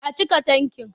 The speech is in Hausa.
A cika tankin.